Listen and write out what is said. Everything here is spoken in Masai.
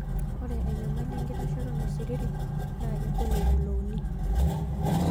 Ore enyamali enkitashoto naisiriri naa kegol eyiolounoi.